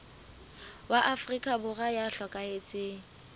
wa afrika borwa ya hlokahetseng